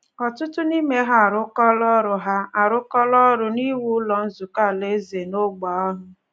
Ọtụtụ n’ime ha arụkọọla ọrụ ha arụkọọla ọrụ n’iwu Ụlọ Nzukọ Alaeze n’ógbè ahụ.